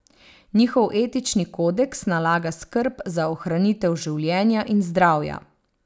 Njihov etični kodeks nalaga skrb za ohranitev življenja in zdravja.